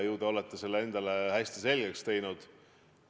Ju te olete selle endale hästi selgeks teinud.